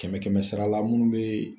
Kɛmɛ kɛmɛ sara la minnu bɛ